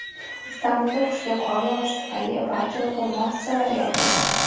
Istanbulda kuchli qor yog‘ishi tufayli barcha o‘quv muassasalari yopildi.